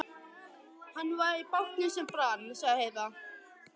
Hann var í bátnum sem brann, sagði Heiða.